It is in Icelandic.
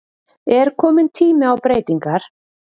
Er komin tími á breytingar?